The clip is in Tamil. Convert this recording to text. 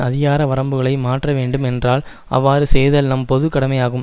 அதிகார வரம்புகளை மாற்ற வேண்டும் என்றால் அவ்வாறு செய்தல் நம் பொது கடமையாகும்